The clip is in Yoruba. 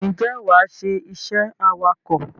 Ǹjẹ́ wàá ṣe iṣẹ́ awakọ̀?